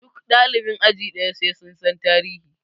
Duk ɗalibin aji ɗaya sai sun san tarihi!